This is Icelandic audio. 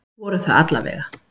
Voru það alla vega.